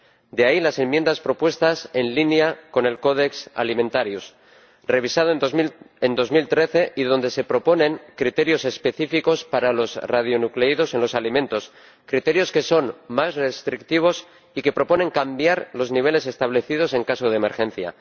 De ahí las enmiendas propuestas, en línea con el Codex Alimentarius, revisado en 2013, y donde se proponen criterios específicos para los radionucleidos en los alimentos, criterios que son más restrictivos y que proponen cambiar los niveles establecidos en caso de emergencia.